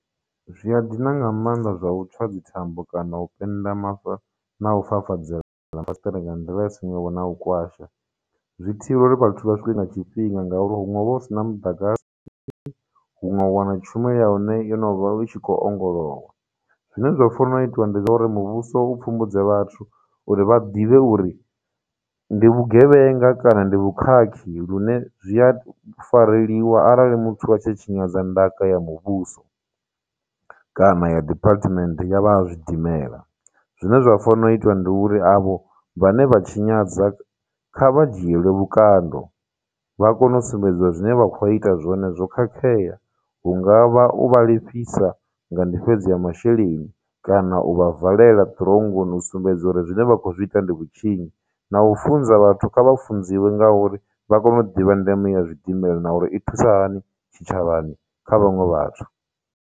Zwi a dina nga maanḓa zwa u tswa dzithambo kana u pennda na u fafadzela mafasiṱere nga nḓila ya na u kwasha. Zwi thivhela uri vhathu vha swike nga tshifhinga ngauri huṅwe hu vha hu sina muḓagasi hunwe u wana tshumelo ya hone yo no vha i tshi khou ongolowa. Zwine zwa fanela itiwa ndi zwa uri muvhuso u pfhumbudze vhathu uri vha ḓivhe uri ndi vhugevhenga kana ndi vhukhakhi lune zwi a fareliwa arali muthu a tshi tshinyadza ndaka ya muvhuso kana ya department ya vha ha zwidimela. Zwine zwa fanela u itiwa ndi uri avho vhane vha tshinyadza kha vha dzhielwe vhukando vha kone u sumbedziwa zwine vha khou ita zwone zwo khakhea, hungavha u vha lifhisa nga ndifhedzo ya masheleni, kana u vha valela ṱironngoni u sumbedza uri zwine vha khou zwi ita ndi vhutshinyi, na u funza vhathu kha vha funziwe nga uri, vha kone u ḓivha ndeme ya zwidimela na uri i thusa hani tshitshavhani kha vhaṅwe vhathu.